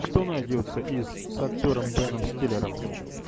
что найдется из с актером беном стиллером